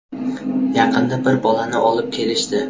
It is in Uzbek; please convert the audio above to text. Yaqinda bir bolani olib kelishdi.